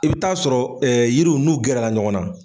I bɛ taa sɔrɔ yiriw n'u gɛrɛla ɲɔgɔn na.